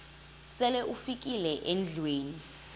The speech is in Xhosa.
sele ufikile endlwini